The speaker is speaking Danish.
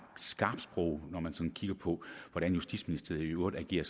skarpt sprog når man sådan kigger på hvordan justitsministeriet i øvrigt agerer